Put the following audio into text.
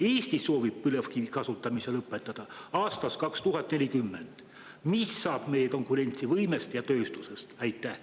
Eesti soovib põlevkivi kasutamise lõpetada aastaks 2040. Mis saab meie konkurentsivõimest ja tööstusest?